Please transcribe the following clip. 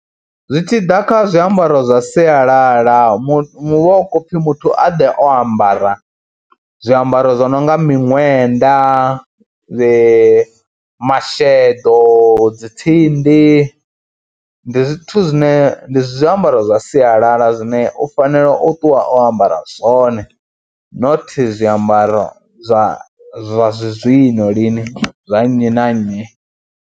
Zwi tshi ḓa kha zwiambaro zwa sialala mu mu hu vha hu khou pfhi muthu a ḓe o ambara zwiambaro zwo no nga miṋwenda, dzi masheḓo, dzi tsindi, ndi zwithu zwine, ndi zwiambaro zwa sialala zwine u fanela u ṱuwa o ambara zwone not zwiambaro zwa zwazwino lini zwa nnyi na nnyi.